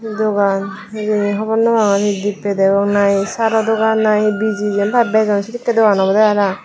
dokan hejani hobor nopagor he devpay na sara dokan na he bejon na he jein pai bajon sekkay dokan obode para pang.